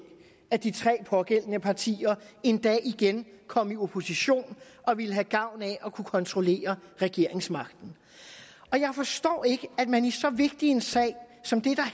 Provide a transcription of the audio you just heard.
at de pågældende tre partier en dag igen kom i opposition og ville have gavn af at kunne kontrollere regeringsmagten og jeg forstår ikke at man i så vigtig en sag som det